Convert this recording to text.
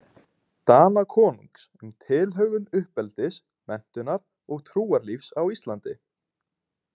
Danakonungs um tilhögun uppeldis, menntunar og trúarlífs á Íslandi.